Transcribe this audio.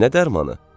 Nə dərmanı?